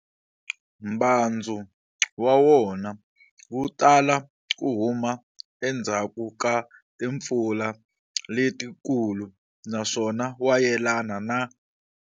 Mbhandzu wa wona wutala ku huma endzhaku ka timpfula letikulu naswona wa yelana na.